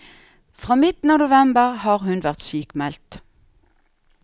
Fra midten av november har hun vært sykmeldt.